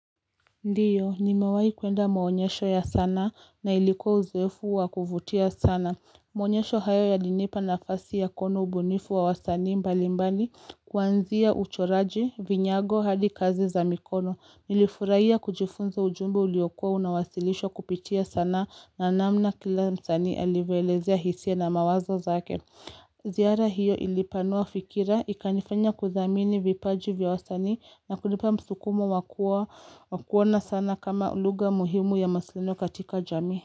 Ndiyo, nimewahi kuenda maonyesho ya sanaa na ilikuwa uzoefu wa kuvutia sana. Maonyesho hayo yalinipa nafasi ya kuona ubunifu wa wasaani mbalimbali kuanzia uchoraji, vinyago, hadi kazi za mikono. Nilifurahia kujifunza ujumbe uliokua unawasilishwa kupitia sanaa na namna kila msanii alivyoelezea hisia na mawazo zake. Ziara hiyo ilipanua fikira ikanifanya kuthamini vipaji vya wasanii na kulipa msukumo wakuona sana kama lugha muhimu ya mawasiliano katika jamii.